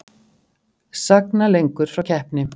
Sagna lengur frá keppni